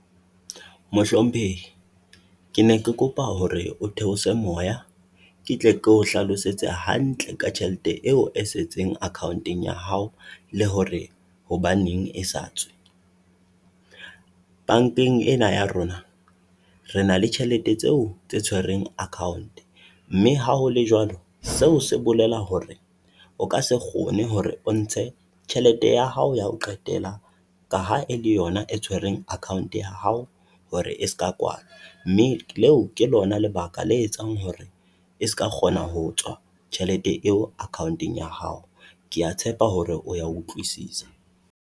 Mohlomphehi ke ne ke kopa hore o theose moya ke tle ke o hlalosetse hantle ka tjhelete eo e setseng accounteng ya hao, le hore hobaneng e sa tswe. Bankeng ena ya rona re na le tjhelete tseo tse tshweroeng account, mme ha hole woalo, seo se bolela hore o ka se kgone hore o ntshe tjhelete ya hao ya ho qetela ka ha e le yona e tshwereng account ya hao hore e ska kwala. Mme leo ke lona lebaka la etsang hore e ska kgona ho tswa tjhelete eo accounteng ya hao. Kea tshepa hore o ya utlwisisa.